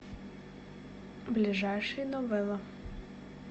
ближайший новелла